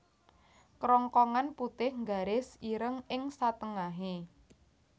Kerongkongan putih nggaris ireng ing satengahe